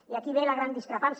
i aquí ve la gran discrepància